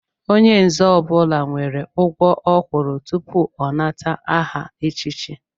Onye nzé ọbula nwèrè ugwọ ọ kwụrụ tupu ọ nata aha echiche